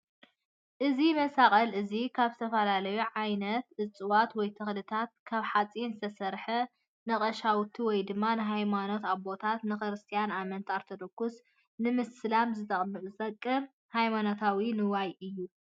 እዚ መሳቅል እዚ ካብ ዝተፈላለዩ ዓይነት እፅዋት ወይ ተክልታትን ካብ ሓፂንን ዝተስርሐ ንቀሻውሽቲ ወይ ድማ ናይ ሃይማኖት ኣቦታት ንክስትያን ኣማኒ ኦርቶዶክስ ንምስላም ዝተጠቅም ሃይማኖታዊ ንዋይ እዩ፡፡